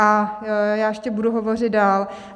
A já ještě budu hovořit dál.